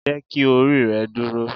Jeki ori rẹ duro!